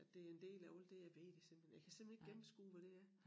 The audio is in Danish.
At det en del af alt det jeg ved det simpelthen jeg kan simpelthen ikke gennemskue hvad det er